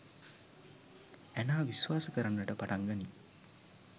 Anna විශ්වාස කරන්නට පටන් ගනියි